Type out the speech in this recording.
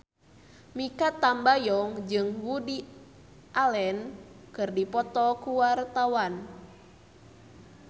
Mikha Tambayong jeung Woody Allen keur dipoto ku wartawan